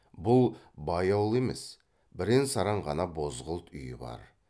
бұл бай ауыл емес бірен саран ғана бозғылт үйі бар